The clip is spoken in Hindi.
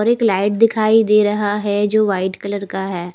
और एक लाइट दिखाई दे रहा है जो वाइट कलर का है।